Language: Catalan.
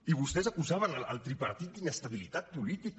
i vostès acusaven el tripartit d’inestabilitat política